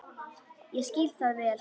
Ég skil það vel.